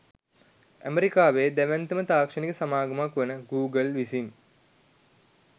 ඇමෙරිකාවේ දැවැන්තම තාක්ෂණික සමාගමක් වන ගූගල් විසින්